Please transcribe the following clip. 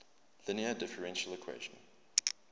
linear differential equation